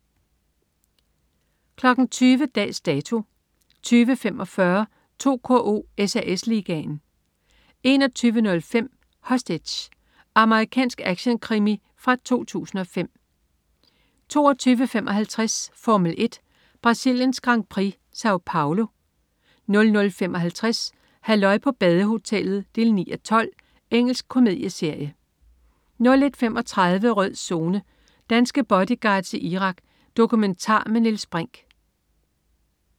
20.00 Dags Dato 20.45 2KO: SAS Ligaen 21.05 Hostage. Amerikansk actionkrimi fra 2005 22.55 Formel 1: Brasiliens Grand Prix. Sao Paolo 00.55 Halløj på badehotellet 9:12. Engelsk komedieserie 01.35 Rød Zone: Danske bodyguards i Irak. Dokumentar med Niels Brinch